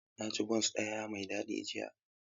Na ci bons ɗaya mai daɗi jiya.